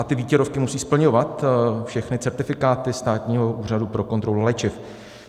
A ty výtěrovky musí splňovat všechny certifikáty Státního úřadu pro kontrolu léčiv.